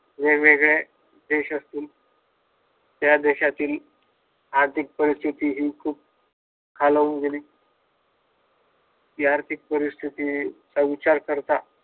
वेगवेळ्या देशातील त्या देशातील आर्थिक परिस्थिती हि खूप खालावून गेली या परिस्थितीचा उच्चार करता